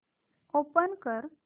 open कर